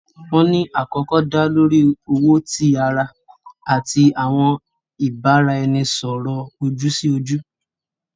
Wọn ni akọkọ da lori owo ti ara ati awọn ibaraẹnisọrọ oju-si-oju.